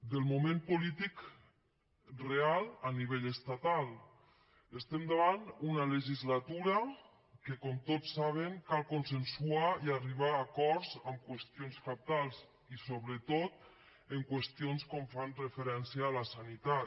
en el moment polític real a nivell estatal estem davant d’una legislatura en què com tots saben cal consensuar i arribar a acords en qüestions cabdals i sobretot en qüestions que fan referència a la sanitat